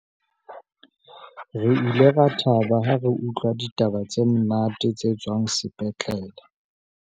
re ile ra thaba ha re utlwa ditaba tse monate tse tswang sepetlele